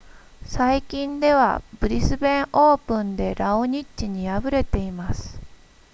最近ではブリスベンオープンでラオニッチに敗れています